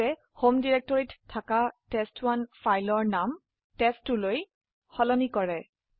এইটি home ডিৰেক্টৰিতে থাকা test one ফাইলৰ নাম পৰিবৰ্তন কৰে টেষ্ট2 কৰক